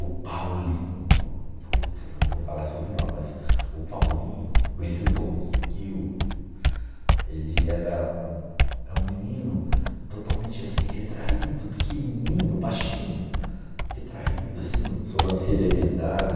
O Paulinho, puts, eu não vou falar sobrenome, mas o Paulinho, conhecido como Kikiu, ele era um é um menino totalmente retraído, pequenininho, baixinho, retraído assim, sobrancelha emendada.